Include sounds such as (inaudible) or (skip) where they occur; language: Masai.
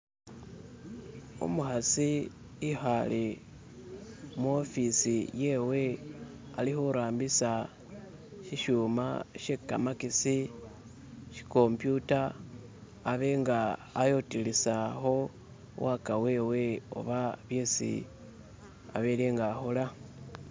"(skip)" umukhasi ikhale muofisi yewe alikhurambisa shishyuma shyekamakesi shyikomputa abe nga ayotelesakho waka wewe oba isi abele nga akhola